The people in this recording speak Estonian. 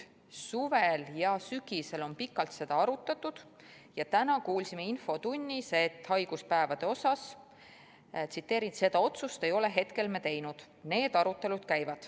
Suvel ja sügisel on seda pikalt arutatud ja täna kuulsime infotunnis haiguspäevade kohta, et seda otsust ei ole hetkel tehtud, need arutelud käivad.